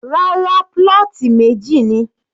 Rárá, plot meji ni.